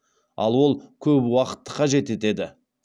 ал ол көп уақытты қажет етеді